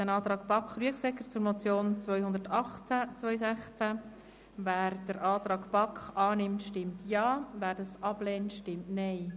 Wer den Antrag der BaK zur Motion 218-2016 von Grossrat Bachmann annimmt, stimmt Ja, wer das ablehnt, stimmt Nein.